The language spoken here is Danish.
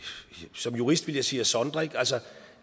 som jurist ville jeg sige at sondre altså